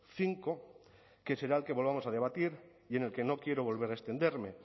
cinco que será el que volvamos a debatir y en el que no quiero volver a extenderme